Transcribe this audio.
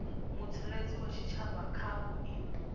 mutsireledzi wa tshitshavha kha vhuimo